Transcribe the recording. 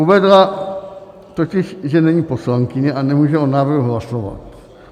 Uvedla totiž, že není poslankyně a nemůže o návrhu hlasovat.